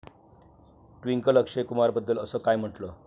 ट्विंकलनं अक्षय कुमारबद्दल असं काय म्हटलं?